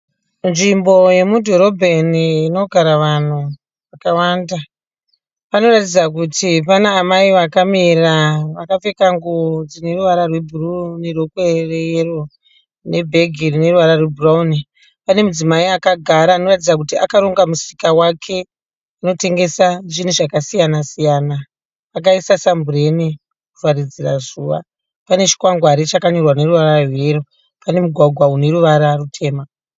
Nzvimbo yemubhobhaeni inogara vanhu vakawanda. Panoratidza kuti pane amai vakamira vakapfeka nguwo dzineruvara rwebhuruwu nerokwe reyero nebhegi rineruvara rwebhurauni. Pane mudzimai akagara anoratidza kuti akaronga musika wake anotengesa zvinhu zvakasiyana siyana. Akaisa sambureni kuvharidzira zuva. Pane chikwangwari chanyorwa neruvara rweyero, pane mugwagwa uneruvara rutema.